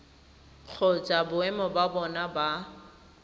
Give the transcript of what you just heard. kgotsa boemo ba bona ba